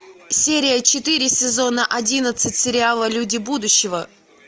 серия четыре сезона одиннадцать сериала люди будущего